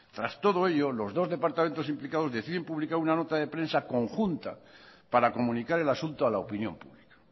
tras todo ello los dos departamentos implicados deciden publicar una nota de prensa conjunta para comunicar el asunto a la opinión pública